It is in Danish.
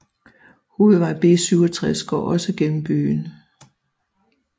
Hovedvej B67 går også gennem byen